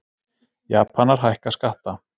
Japanar hækka skatta